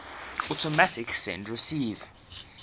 automatic send receive